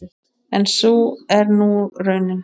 En sú er nú raunin.